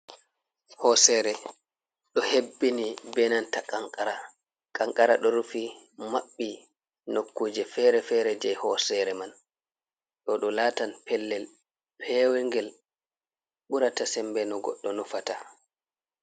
Hosere ɗo hebbini benanta kanqara. Kanqara ɗo rufi maɓɓi nokkuje fere-fere je hosere man, ɗo ɗo latan pellel pewngel, ɓurata sembe no goɗɗo nufata.